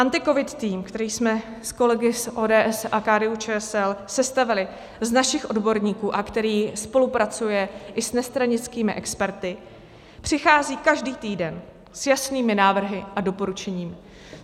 AntiCovid tým, který jsme s kolegy z ODS a KDU-ČSL sestavili z našich odborníků a který spolupracuje i s nestranickými experty, přichází každý týden s jasnými návrhy a doporučeními.